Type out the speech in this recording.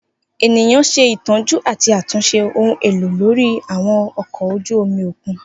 Eniyan ṣetọju ati atunṣe ohun elo lori àwọn ọkọ oju omi okun.